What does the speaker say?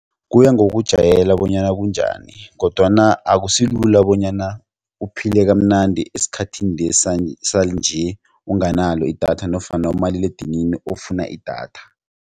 Kuya ngokujayela bonyana kunjani kodwana akusilula bonyana uphile kamnandi esikhathini lesi sanje unganalo idatha nofana umaliledinini ofuna idatha.